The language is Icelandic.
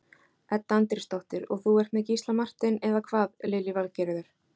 Edda Andrésdóttir: Og þú ert með Gísla Martein, eða hvað Lillý Valgerður?